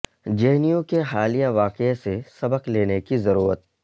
جے N U کے حالیہ واقعے سے سبق لینے کی ضرورت